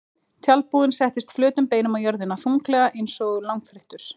Tjaldbúinn settist flötum beinum á jörðina, þunglega einsog langþreyttur.